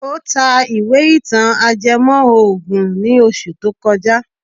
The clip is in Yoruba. Ó ta ìwé ìtàn ajẹmọ́ ògùn ní oṣù tó kọjá.